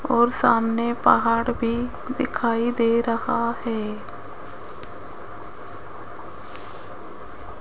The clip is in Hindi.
और सामने पहाड़ भी दिखाई दे रहा है।